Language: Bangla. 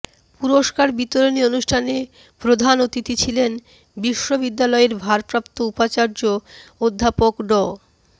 পুরস্কার বিতরণী অনুষ্ঠানে প্রধান অতিথি ছিলেন বিশ্ববিদ্যালয়ের ভারপ্রাপ্ত উপাচার্য অধ্যাপক ড